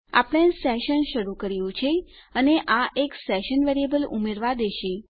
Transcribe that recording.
આપણે સેશન શરૂ કર્યું છે અને આ એક સેશન વેરીએબલ ઉમેરવા દેશે